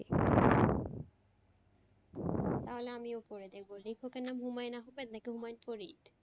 তাহলে আমিও পড়ে দেখব লেখকের নাম হুমায়ন আহম্মেদ নাকি হুমায়ুন ফরিদ?